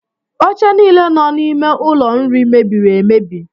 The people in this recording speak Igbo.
Oche niile nọ n’ime ụlọ nri mebiri emebi